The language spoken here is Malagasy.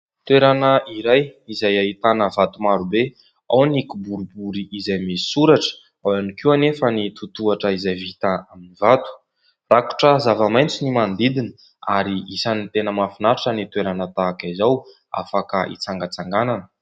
Toerana iray izay ahitana vato maro be. Ao ny kiboribory izay misy soratra. Ao ihany koa nefa ny tohatohatra izay vita amin'ny vato. Rakotra zavamaitso ny manodidina ary isany tena mahafinaritra ny toerana tahaka izao, afaka hitsangatsanganana.